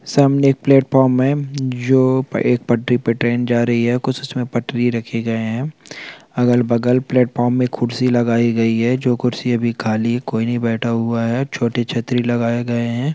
सामने एक प्लेटफार्म है जो एक पटरी पर एक ट्रैन जा रही है कुछ उसमें पटरी रखे गए है अगल बग़ल प्लेटफार्म में कुर्सी लगाई गई है जो कुर्सी अभी खाली है कोई नहीं बैठा हुआ है छोटी छतरी लगाया गए है।